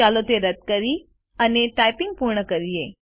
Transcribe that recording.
ચાલો તે રદ કરીએ અને ટાઇપિંગ પૂર્ણ કરીએ